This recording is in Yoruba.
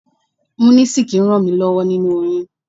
Munisik ràn mí lọ́wọ́ nínu oyún.